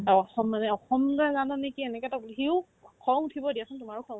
অ, অসম মানে অসম তই জান নেকি এনেকেতো সিও খং উঠিব দিয়াচোন তোমাৰো খং উঠিব